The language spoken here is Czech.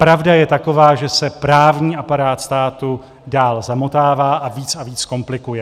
Pravda je taková, že se právní aparát státu dál zamotává a víc a víc komplikuje.